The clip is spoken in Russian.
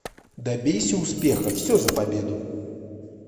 добейся успеха все за победу